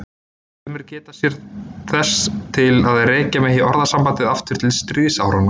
Sumir geta sér þess til að rekja megi orðasambandið aftur til stríðsáranna.